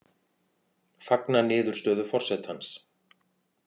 Fagna niðurstöðu forsetans